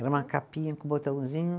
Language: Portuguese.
Era uma capinha com botãozinho.